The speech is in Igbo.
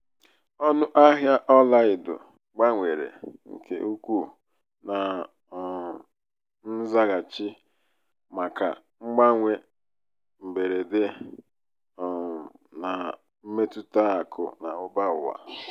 ọnụ ahịa ọla edo gbanwere nke ukwuu na um nzaghachi maka mgbanwe mberede um na mmetụta akụ na ụba ụwa.